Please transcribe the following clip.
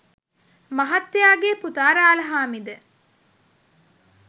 මහත්තයාගේ පුතා රාලහාමි ද